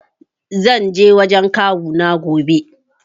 Zan je wurin kawuna gobe.